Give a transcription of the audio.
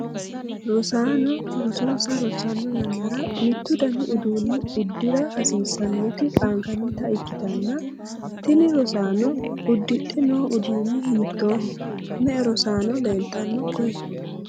rosaano rosonsa rossanno yannara mittu dani uduunne uddira hasiissanoti qaangannita ikkitanna, tini rosaanono uddidhe noo uduunni hiittooho? me''e rosaano leeltanno koye?